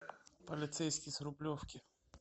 полицейский с рублевки